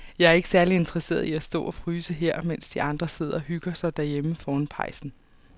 Jeg er ikke særlig interesseret i at stå og fryse her, mens de andre sidder og hygger sig derhjemme foran pejsen.